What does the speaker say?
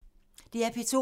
DR P2